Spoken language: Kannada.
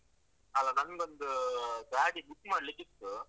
ಅಲ್ಲ, ನಂಗೊಂದು ಗಾಡಿ book ಮಾಡ್ಲಿಕ್ಕಿತ್ತು.